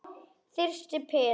Þyrsti Pétur.